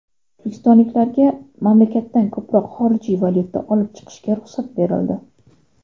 O‘zbekistonliklarga mamlakatdan ko‘proq xorijiy valyuta olib chiqishga ruxsat berildi.